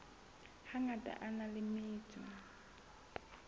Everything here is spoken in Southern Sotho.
hangata a na le metso